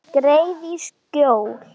Skreið í skjól.